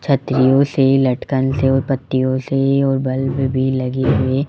छतरियों से लटकन से और पत्तियों से और बल्ब भी लगे हुए--